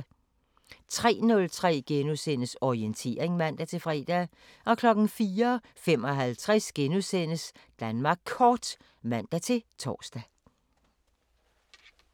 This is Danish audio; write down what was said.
03:03: Orientering *(man-fre) 04:55: Danmark Kort *(man-tor)